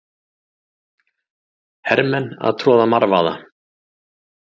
Hermenn að troða marvaða.